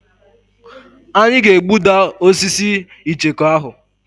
Anyị ga-egbuda osisi icheku ahụ.